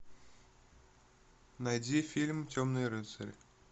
найди фильм темный рыцарь